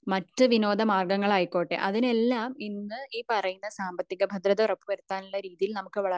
മറ്റു വിനോദ മാര്ഗങ്ങള് ആയിക്കോട്ടെ അതിനെല്ലാം ഇന്ന് ഈ പറയുന്ന സാമ്പത്തിക ഭദ്രത ഉറപ്പുവരുത്താനുള്ള രീതിയിൽ നമുക്ക്